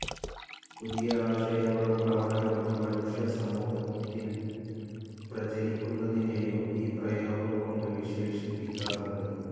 പുതിയ ആശയങ്ങളും പ്രവണതകളും മനുഷ്യസമൂഹത്തിൽ പ്രചരിക്കുന്നതിനേയും ഈ പ്രയോഗം കൊണ്ട് വിശേഷിപ്പിക്കാറുണ്ട്.